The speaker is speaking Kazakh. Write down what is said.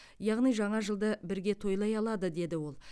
яғни жаңа жылды бірге тойлай алады деді ол